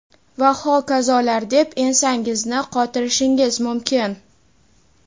va hokazolar deb ensangizni qotirishingiz mumkin.